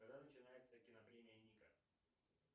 когда начинается кинопремия ника